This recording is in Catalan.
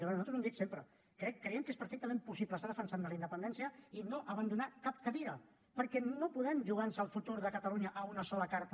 a veure nosaltres ho hem dit sempre creiem que és perfectament possible estar defensant la independència i no abandonar cap cadira perquè no podem jugar nos el futur de catalunya a una sola carta